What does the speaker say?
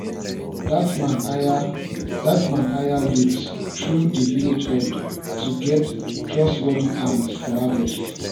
dat man hire dat man hire youths through di village head to get trustworthy hands for harvest